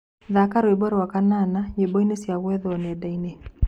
Thaka rwĩmbo rwa kanana nyĩmboĩnĩ cĩa gwethwo nendaini